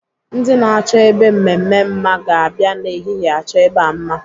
Ndị na-achọ ebe mmemme mma ga-abịa n'ehihie achọ ebe a mma.